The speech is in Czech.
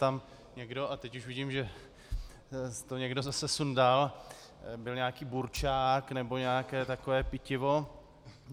Tam někdo - a teď už vidím, že to někdo zase sundal - byl nějaký burčák nebo nějaké takové pitivo.